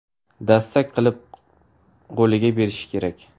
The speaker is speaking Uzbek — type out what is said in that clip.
Dastak qilib qo‘liga berishi kerak.